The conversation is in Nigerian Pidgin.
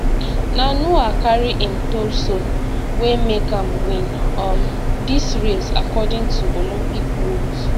na noah carry im torso wey make am win um dis race according to olympic rules